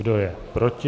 Kdo je proti?